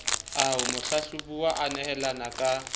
ao mohlahlobuwa a nehelaneng ka